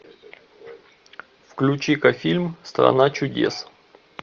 включи ка фильм страна чудес